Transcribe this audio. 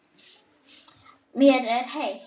Mér er heitt.